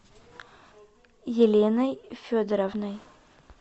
еленой федоровной